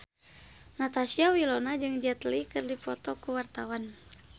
Natasha Wilona jeung Jet Li keur dipoto ku wartawan